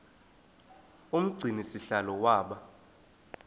umgcini sihlalo waba